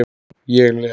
Ég les.